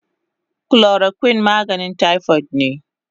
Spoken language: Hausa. Chloroquine maganin typhoid ne